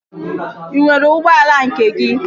Ị nwere ụgbọala nke gị?